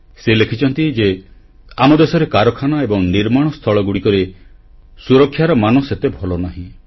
ସେ ଲେଖିଛନ୍ତି ଯେ ଆମ ଦେଶରେ କାରଖାନା ଏବଂ ନିର୍ମାଣସ୍ଥଳଗୁଡ଼ିକରେ ସୁରକ୍ଷାର ମାନ ସେତେ ଭଲ ନାହିଁ